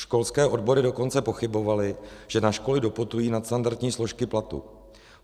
Školské odbory dokonce pochybovaly, že na školy doputují nadstandardní složky platu.